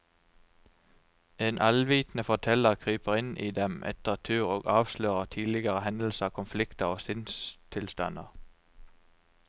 En allvitende forteller kryper inn i dem etter tur og avslører tidligere hendelser, konflikter og sinnstilstander.